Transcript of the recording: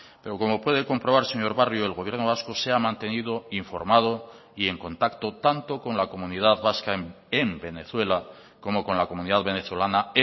pero como puede comprobar señor barrio el gobierno vasco se ha mantenido informado y en contacto tanto con la comunidad vasca en venezuela como con la comunidad venezolana